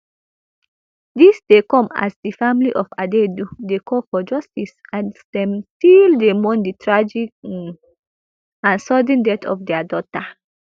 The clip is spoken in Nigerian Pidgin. dis dey come as di family of adaidu dey call for justice as dem still dey mourn di tragic um and sudden death of dia daughter